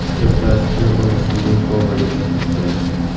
Ertasi kuni uni sun’iy komaga tushirishgan.